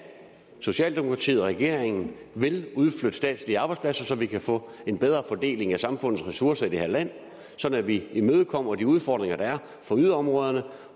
socialdemokratiet og regeringen vil udflytte statslige arbejdspladser så vi kan få en bedre fordeling af samfundets ressourcer i det her land sådan at vi imødekommer de udfordringer der er for yderområderne